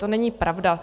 To není pravda.